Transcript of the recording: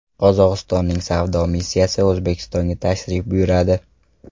Qozog‘istonning savdo missiyasi O‘zbekistonga tashrif buyuradi.